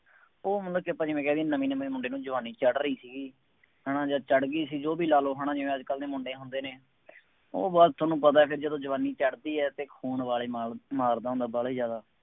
ਉਹ ਮਤਲਬ ਕਿ ਜਿਵੇਂ ਆਪਾਂ ਕਹਿ ਦੇਈਏ ਨਵੇਂ ਨਵੇਂ ਮੁੰਡੇ ਨੂੰ ਜਵਾਨੀ ਚੜ੍ਹ ਰਹੀ ਸੀ। ਹੈ ਨਾ ਜਦ ਚੜ੍ਹ ਗਈ ਸੀ ਉਹ ਵੀ ਲਾ ਲਉ ਹੈ ਨਾ ਜਿਵੇਂ ਅੱਜ ਕੱਲ੍ਹ ਦੇ ਮੁੰਡੇ ਹੁੰਦੇ ਨੇ, ਉਹ ਬੱਸ ਤੁਹਾਨੂੰ ਪਤਾ ਫੇਰ ਜਦੋਂ ਜਵਾਨੀ ਚੜ੍ਹਦੀ ਹੈ ਅਤੇ ਖੂਨ ਉਬਾਲੇ ਮਾਰ ਮਾਰਦਾ ਹੁੰਦਾ, ਵਾਲਾ ਜ਼ਿਆਦਾ।